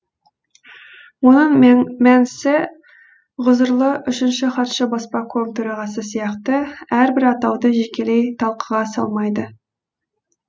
оның мәнісі ғұзырлы үшінші хатшы баспаком төрағасы сияқты әрбір атауды жекелей талқыға салмайды